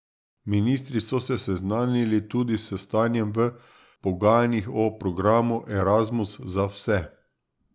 Ministri so se seznanili tudi s stanjem v pogajanjih o programu Erasmus za vse.